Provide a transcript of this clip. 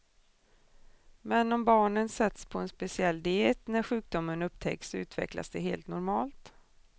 Men om barnen sätts på en speciell diet när sjukdomen upptäcks utvecklas de helt normalt.